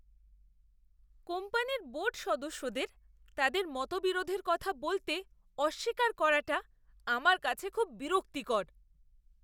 কোম্পানির বোর্ড সদস্যদের তাদের মতবিরোধের কথা বলতে অস্বীকার করাটা আমার কাছে খুব বিরক্তিকর!